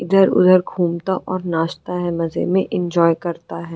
इधर उधर घुमता और नाचता है मजे में एन्जॉय करता है।